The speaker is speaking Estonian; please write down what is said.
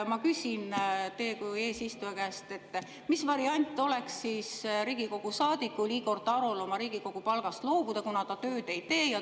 Ma küsin teie kui eesistuja käest, mis variant oleks Riigikogu saadikul Igor Tarol oma Riigikogu palgast loobuda, kuna ta tööd ei tee.